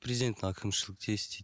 президенттік әкімшілікте істейді